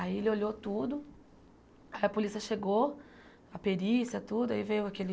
Aí ele olhou tudo, a polícia chegou, a perícia, tudo, aí veio aquele...